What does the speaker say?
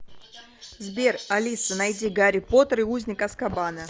сбер алиса найди гарри поттер и узник азкабана